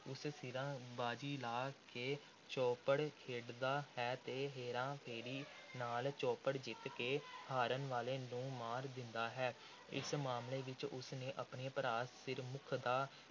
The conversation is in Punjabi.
ਉਸ ਸਿਰਾਂ ਦੀ ਬਾਜ਼ੀ ਲਾ ਕੇ ਚੌਪੜ ਖੇਡਦਾ ਹੈ ਤੇ ਹੇਰਾ – ਫੇਰੀ ਨਾਲ ਚੌਪੜ ਜਿੱਤ ਕੇ ਹਾਰਨ ਵਾਲੇ ਨੂੰ ਮਾਰ ਦਿੰਦਾ ਹੈ। ਇਸ ਮਾਮਲੇ ਵਿਚ ਉਸ ਨੇ ਆਪਣੇ ਭਰਾ ਸਿਰਮੁੱਖ ਦਾ